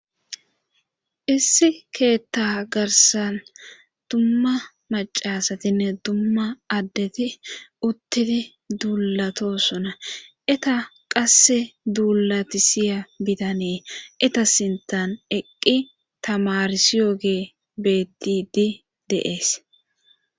Issi keetta garsan dumma macasatinne dumma addeti uttidi duulato sona eta qasse duullati siya bitanee eta sintan eqqi tamarsiyogee bettidi deees